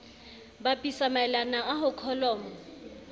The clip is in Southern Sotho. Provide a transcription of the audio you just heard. bapisa maelana a ho kholomo